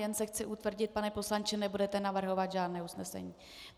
Jen se chci utvrdit, pane poslanče - nebudete navrhovat žádné usnesení?